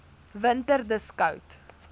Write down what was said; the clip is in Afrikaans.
winter dis koud